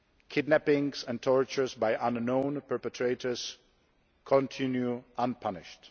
Kidnappings and torture by unknown perpetrators continue unpunished.